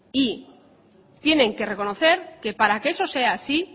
y tienen que reconocer que para que eso sea así